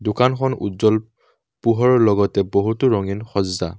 দোকানখন উজ্জ্বল পোহৰৰ লগতে বহুতো ৰঙীন সজ্জা।